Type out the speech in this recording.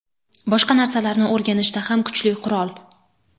boshqa narsalarni o‘rganishda ham kuchli qurol.